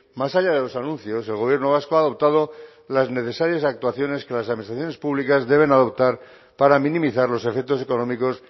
más allá de los anuncios el gobierno vasco ha adoptado las necesarias actuaciones que las administraciones públicas deben adoptar para minimizar los efectos económicos